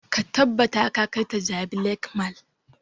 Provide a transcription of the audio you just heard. Ka tabbata ka kai ta jabi lake mall!